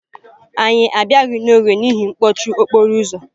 Anyị abịala n'oge n'ihi mkpọchi okporo ụzọ.